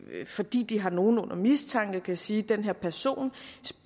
fordi de har nogen under mistanke kan sige den her person